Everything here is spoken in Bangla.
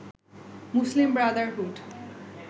মুসলিম ব্রাদারহুড